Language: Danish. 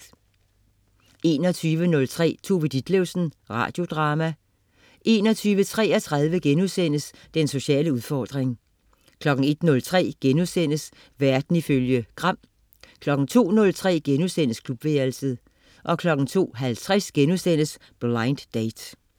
21.03 Tove Ditlevsen. Radiodrama 21.33 Den sociale udfordring* 01.03 Verden ifølge Gram* 02.03 Klubværelset* 02.50 Blind Date*